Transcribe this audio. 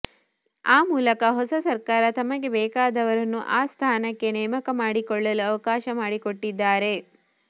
ಆ ಮೂಲಕ ಹೊಸ ಸರ್ಕಾರ ತಮಗೆ ಬೇಕಾದವರನ್ನು ಆ ಸ್ಥಾನಕ್ಕೆ ನೇಮಕ ಮಾಡಿಕೊಳ್ಳಲು ಅವಕಾಶ ಮಾಡಿಕೊಟ್ಟಿದ್ದಾರೆ